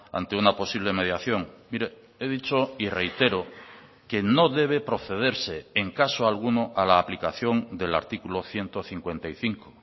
ante una posible mediación mire he dicho y reitero que no debe procederse en caso alguno a la aplicación del artículo ciento cincuenta y cinco